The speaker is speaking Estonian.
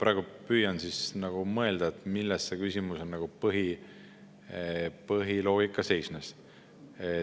Ma praegu püüan mõelda, milles selle küsimuse põhiloogika seisneb.